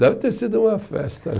Deve ter sido uma festa.